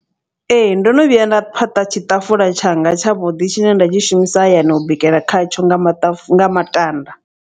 Ee ndono vhuya nda phaṱa tshiṱafula tshanga tshavhuḓi tshine nda tshi shumisa hayani u bikela khatsho nga maṱafu nga matanda.